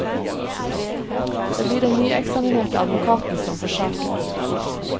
Det blir den nyeksaminerte advokaten som får saken.